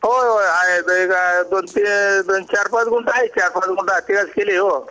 होय होय आहे आहे पण ते चार पाच गोणी असते ओ